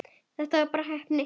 Þetta var bara heppni.